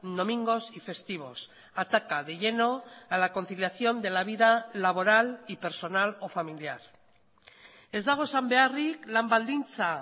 domingos y festivos ataca de lleno a la conciliación de la vida laboral y personal o familiar ez dago esan beharrik lan baldintza